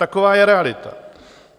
Taková je realita.